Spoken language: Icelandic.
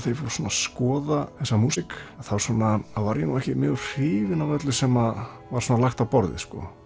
skoða þessa músík þá var ég ekki mjög hrifinn af öllu sem var lagt á borðið